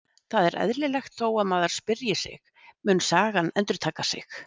Það er eðlilegt þó að maður spyrji sig: Mun sagan endurtaka sig?